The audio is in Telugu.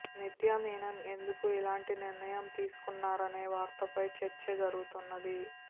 నిత్యామీనన్ ఎందుకు ఇలాంటి నిర్ణయం తీసుకొన్నారనే వార్తపై చర్చ జరుగుతున్నది